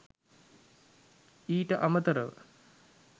ඊට අමතරව